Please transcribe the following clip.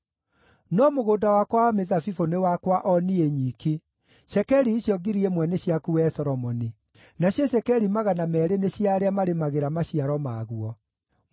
No mũgũnda wakwa wa mĩthabibũ nĩ wakwa o niĩ nyiki; cekeri icio 1,000 nĩ ciaku wee Solomoni; nacio cekeri 200 nĩ cia arĩa marĩmagĩra maciaro maguo.